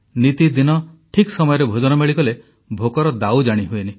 ନିତିଦିନ ଠିକ୍ ସମୟରେ ଭୋଜନ ମିଳିଗଲେ ଭୋକର ଦାଉ ଜାଣିହୁଏନି